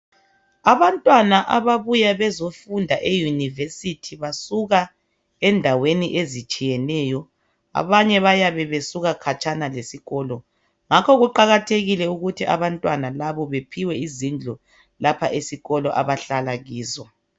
abantwana ababuya bezofunda e university basuka endaweni ezitshiyeneyo abanye bayabe besuka khatshana lesikolo ngakho kuqakathekile ukuthi abantwana laba bephiwe izindlu lapha esikolo abahlala kizo